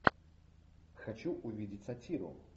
хочу увидеть сатиру